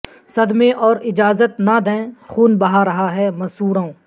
صدمے اور اجازت نہ دیں خون بہہ رہا ہے مسوڑوں